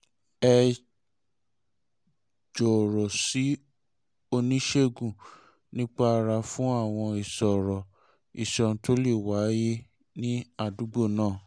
ẹ jọ̀rọ̀ sí oníṣègùn nípa ara fún àwọn ìṣòro iṣan tó lè wáyé ní àdúgbò náà